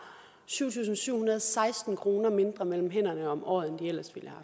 syv tusind syv hundrede og seksten kroner mindre mellem hænderne om året end de ellers ville